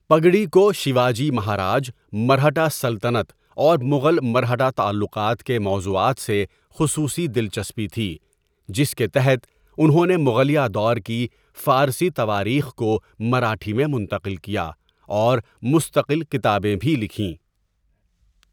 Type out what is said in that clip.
پگڈی کو شیواجی مہاراج، مرہٹہ سلطنت اور مغل مرہٹہ تعلقات کے موضوعات سے خصؤصی دلچسپی تھی جس کے تحت انہوں نے مغلیہ دور کی فارسی تواریخ کو مراٹھی میں منتقل کیا اور مستقل کتابیں بھی لکھیں.